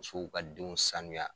Musow ka denw sanuya.